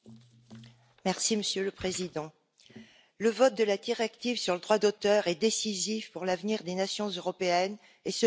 Monsieur le Président, le vote de la directive sur le droit d'auteur est décisif pour l'avenir des nations européennes, et ce pour trois raisons.